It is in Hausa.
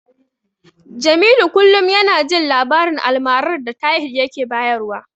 Jamilu kullum yana jin labarin almarar da Tahir yake bayarwa.